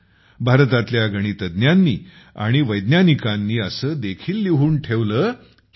भारतातल्या गणितज्ञांनी आणि वैज्ञानिकांनी असे देखील लिहून ठेवले की